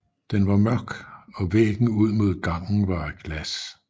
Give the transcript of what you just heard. Den var mørk og væggen ud mod gangen var af glas